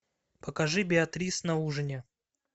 покажи беатрис на ужине